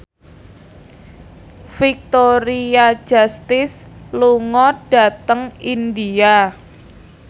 Victoria Justice lunga dhateng India